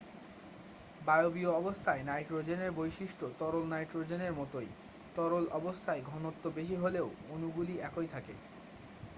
বায়বীয় অবস্থায় নাইট্রোজেনের বৈশিষ্ট্য তরল নাইট্রোজেনের মতোই তরল অবস্থায় ঘনত্ব বেশি হলেও অণুগুলি একই থাকে